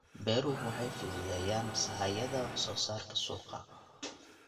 Beeruhu waxay fududeeyaan sahayda wax soo saarka suuqa.